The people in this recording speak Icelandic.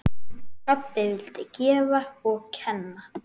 Pabbi vildi gefa og kenna.